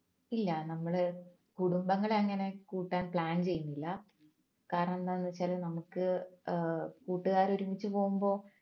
ഇല്ല നമ്മൾ കുടുംബങ്ങളെ അങ്ങനെ കൂട്ടാൻ plan ചെയ്യിന്നില്ല കാരണന്താന്ന്ച്ചാല് നമ്മുക്ക് ഏർ കൂട്ടുകാര് ഒരുമിച്ച് പോകുമ്പോ